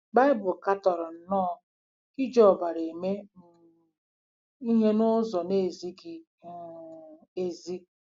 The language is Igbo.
Baịbụl katọrọ nnọọ iji ọbara eme um ihe n’ụzọ na-ezighị um ezi.